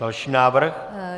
Další návrh.